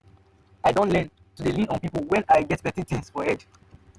i don learn to dey lean on my people when i get plenty tins for head.